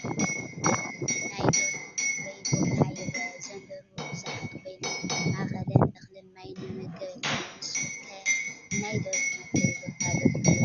ናይ ደርሆ መፍረዬ ቦታ ይረአ፡፡ እዘን ደርሁ ብዙሓት ኮይነን ኣብ ማእኸለን እኽልን ማይን መመገቢ ኣለወን፡፡ ንስኹም ከ ናይ ደርሁ መፍረይ ቦታ ዶ ትሪኡ?